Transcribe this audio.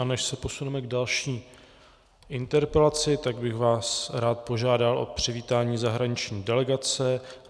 A než se posuneme k další interpelaci, tak bych vás rád požádal o přivítání zahraniční delegace.